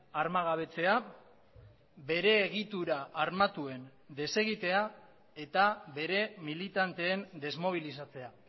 armagabetzea bere egitura armatuen desegitea eta bere militanteen desmobilizatzea